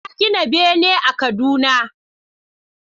Na gina bene a Kaduna